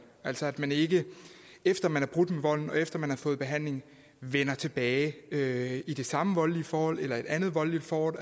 altså så man ikke efter at man har brudt med volden og efter at man har fået behandling vender tilbage til det samme voldelige forhold eller et andet voldeligt forhold